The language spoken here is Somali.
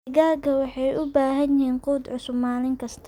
Digaagga waxay u baahan yihiin quud cusub maalin kasta.